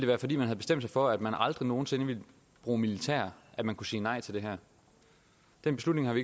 være fordi man havde bestemt sig for at man aldrig nogen sinde ville bruge militær at man kunne sige nej til det her den beslutning har vi